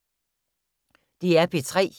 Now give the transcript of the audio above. DR P3